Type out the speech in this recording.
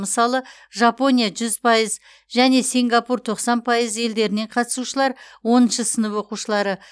мысалы жапония жүз пайыз және сингапур тоқсан пайыз елдерінен қатысушылар оныншы сынып оқушылары